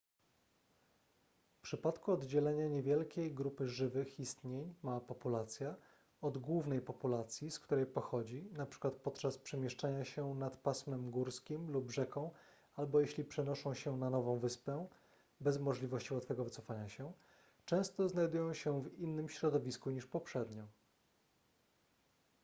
w przypadku oddzielenia niewielkiej grupy żywych istnień mała populacja od głównej populacji z której pochodzi np. podczas przemieszczania się nad pasmem górskim lub rzeką albo jeśli przenoszą się na nową wyspę bez możliwości łatwego wycofania się często znajdują się w innym środowisku niż poprzednio